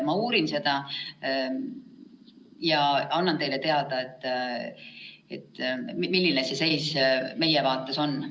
Ma uurin seda ja annan teile teada, milline see seis meie vaates on.